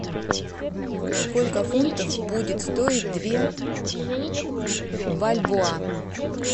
сколько фунтов будет стоить две бальбоа